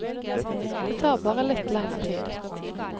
Det tar bare litt lenger tid.